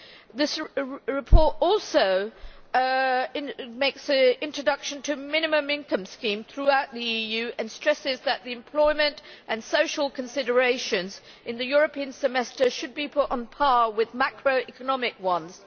This report mentions introduction of a minimum income scheme throughout the EU and stresses that the employment and social considerations in the European Semester should be put on a par with macroeconomic ones.